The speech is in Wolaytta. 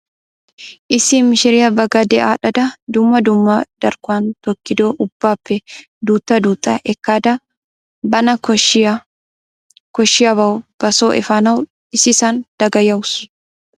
Issi mishiriyaa ba gade adhdhada dumma dumma darkkon tokkido ubbaappe duutta duutta ekkada bana koshshiyaabawu ba soo efaanawu issisaan dagayawusu.